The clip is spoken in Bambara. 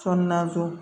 So naani don